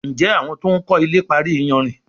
Njé àwọn to'n kò ilè parí iyanrìn?